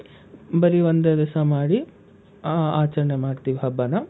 ಬರಿ ಒಂದೇ ದಿವ್ಸ ಮಾಡಿ ಆ ಆಚರಣೆ ಮಾಡ್ತೀವಿ ಹಬ್ಬಾನ.